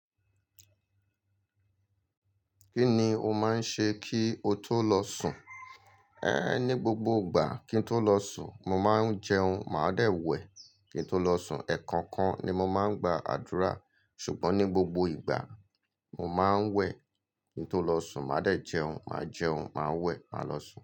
Kí ni o máa ń ṣe kí o tó lọ sùn? É ní gbogbo ìgbà kí ń tó lọ sùn, mo máa ń jẹun, màá dẹ̀ wẹ̀ kí n tó lọ sùn. Ẹ̀ẹ̀kan kan ni mo máa ń gba àdúrà. Ṣùgbọ́n ní gbogbo ìgbà, mo máa ń wẹ̀ kí n tó lọ sùn, màá dẹ̀ jẹun. Màá jẹun, màá wẹ̀, màá lọ sùn.